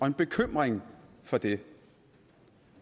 en bekymring for det